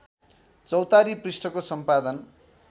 चौतारी पृष्ठको सम्पादन